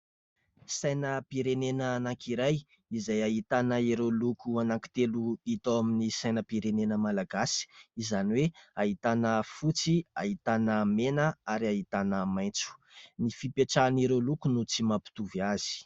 Sainam-pirenena anankiray izay ahitana ireo loko anankitelo hita ao amin'ny sainam-pirenena malagasy izany hoe ahitana fotsy, ahitana mena ary ahitana maitso ; ny fipetrahan'ireo loko no tsy mampitovy azy.